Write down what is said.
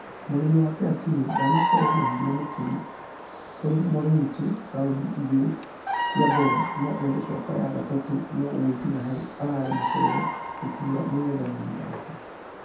Mwena-inĩ wake akinyi ndanakorwo na hinya mũkĩru kũrĩ moronti rqundi igĩrĩ cia mbere nũ agicoka ya gatatũ nũ gũgĩkinya hau ararĩ mũcerere gũkinyĩra mũngethqnĩri wake.